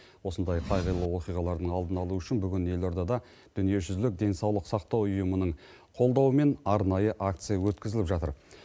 осындай қайғылы оқиғалардың алдын алу үшін бүгін елордада дүниежүзілік денсаулық сақтау ұйымының қолдауымен арнайы акция өткізіліп жатыр